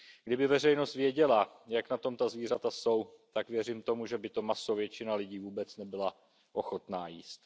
Kdyby veřejnost věděla, jak na tom ta zvířata jsou, tak věřím tomu, že by to maso většina lidí vůbec nebyla ochotna jíst.